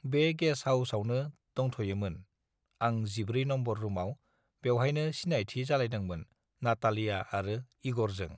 बे गेस हाउसआवनो दंथयोमोन आं जिबै नम्बर रुमाव बेवहायनो सिनायथि जालायदोंमोन नाटालिया आरो इगरजों